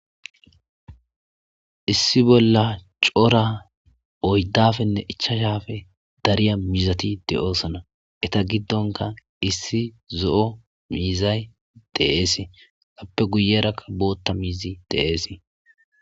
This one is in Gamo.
Issi bollan cora oydapenne ichachappe dariya mizati de'eosona eta gidonkka issi zo'o mizay de'ese appe guyerakka bota miizi de'ese